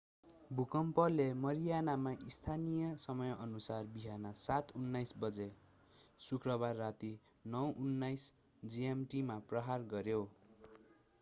भुकम्पले मारियानामा स्थानीय समयानुसार बिहान 07:19 बजे शुक्रबार राती 09:19 gmt मा प्रहार गर्‍यो।